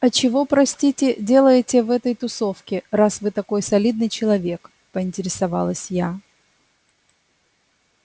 а чего простите делаете в этой тусовке раз вы такой солидный человек поинтересовалась я